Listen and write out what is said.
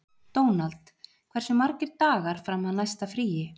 Dónald, hversu margir dagar fram að næsta fríi?